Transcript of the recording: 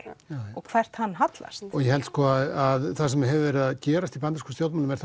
og hvert hann hallast ég held að það sem er að gerast í bandarískum stjórnmálum er